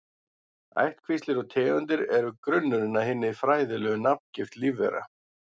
Ættkvíslir og tegundir eru grunnurinn að hinni fræðilegu nafngift lífvera.